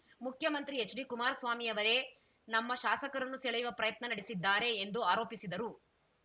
ಮುಖ್ಯಮಂತ್ರಿ ಎಚ್‌ಡಿ ಕುಮಾರಸ್ವಾಮಿಯವರೇ ನಮ್ಮ ಶಾಸಕರನ್ನು ಸೆಳೆಯುವ ಪ್ರಯತ್ನ ನಡೆಸಿದ್ದಾರೆ ಎಂದು ಆರೋಪಿಸಿದರು